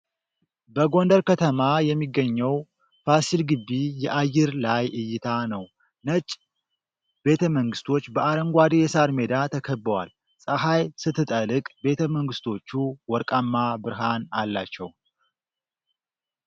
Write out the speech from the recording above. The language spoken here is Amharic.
በጎንደር ከተማ የሚገኘው ፋሲል ግቢ የአየር ላይ እይታ ነው። ነጭ ቤተመንግስቶች በአረንጓዴ የሣር ሜዳ ተከበዋል። ፀሐይ ስትጠልቅ ቤተመንግስቶቹ ወርቃማ ብርሃን አላቸው።